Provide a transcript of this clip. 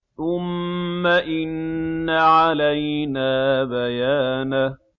ثُمَّ إِنَّ عَلَيْنَا بَيَانَهُ